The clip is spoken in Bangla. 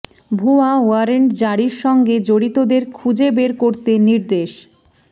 ভুয়া ওয়ারেন্ট জারির সঙ্গে জড়িতদের খুঁজে বের করতে নির্দেশ